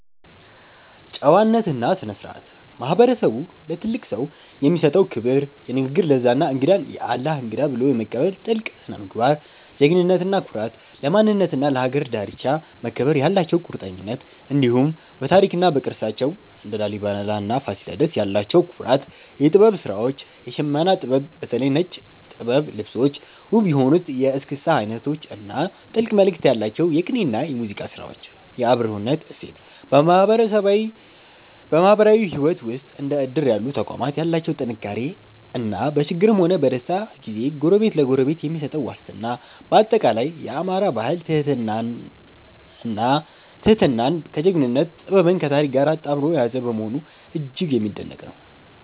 ጨዋነትና ስነ-ስርዓት፦ ማህበረሰቡ ለትልቅ ሰው የሚሰጠው ክብር፣ የንግግር ለዛ እና እንግዳን "የአላህ እንግዳ" ብሎ የመቀበል ጥልቅ ስነ-ምግባር። ጀግንነትና ኩራት፦ ለማንነትና ለሀገር ዳርቻ መከበር ያላቸው ቁርጠኝነት፣ እንዲሁም በታሪክና በቅርሳቸው (እንደ ላሊበላና ፋሲለደስ) ያላቸው ኩራት። የጥበብ ስራዎች፦ የሽመና ጥበብ (በተለይ ነጭ ጥበብ ልብሶች)፣ ውብ የሆኑት የእስክስታ አይነቶች እና ጥልቅ መልእክት ያላቸው የቅኔና የሙዚቃ ስራዎች። የአብሮነት እሴት፦ በማህበራዊ ህይወት ውስጥ እንደ እድር ያሉ ተቋማት ያላቸው ጥንካሬ እና በችግርም ሆነ በደስታ ጊዜ ጎረቤት ለጎረቤት የሚሰጠው ዋስትና። ባጠቃላይ፣ የአማራ ባህል ትህትናን ከጀግንነት፣ ጥበብን ከታሪክ ጋር አጣምሮ የያዘ በመሆኑ እጅግ የሚደነቅ ነው።